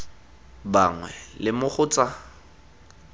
bangwe le mo go tsa